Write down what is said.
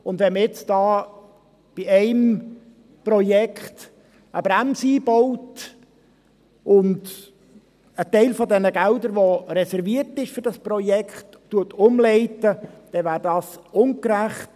Wenn man bei einem Projekt eine Bremse einbaut und einen Teil der Gelder umleitet, die für dieses Projekt reserviert sind, wäre das ungerecht.